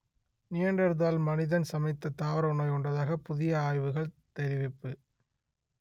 Neanderthal மனிதன் சமைத்த தாவர உணவை உண்டதாகப் புதிய ஆய்வுகள் தெரிவிப்பு